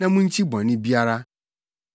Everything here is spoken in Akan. Na munkyi bɔne biara.